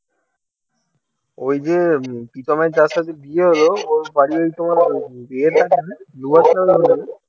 ঐ যে প্রীতমের যার সাথে বিয়ে হল ওর বাড়ী ঐ তোমার